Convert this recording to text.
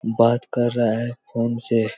बात कर रहा है फ़ोन से--